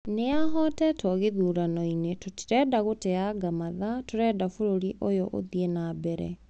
Niahotetwo githurano -ini, tũtirenda gũteanga mathaa, tũrenda bũrũrĩ ũyũ ũthĩĩ nambere.